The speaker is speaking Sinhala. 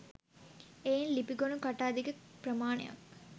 එයින් ලිපිගොනු කට අධික ප්‍රමාණයක්